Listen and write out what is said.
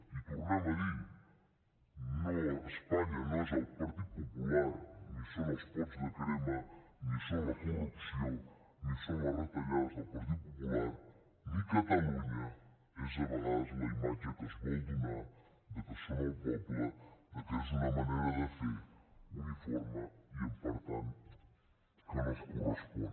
i ho tornem a dir espanya no és el partit popular ni són els pots de crema ni són la corrupció ni són les retallades del partit popular ni catalunya és a vegades la imatge que es vol donar de que són el poble de que és una manera de fer uniforme i per tant que no es correspon